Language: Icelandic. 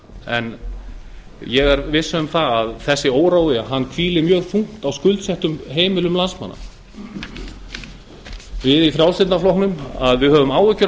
en ég er viss um að þessi órói hvílir mjög þungt á skuldsettum heimilum landsmanna við í frjálslynda flokknum höfum áhyggjur af